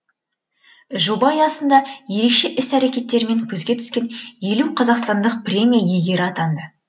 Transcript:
жоба аясында ерекше іс әрекеттерімен көзге түскен елу қазақстандық премия иегері атанды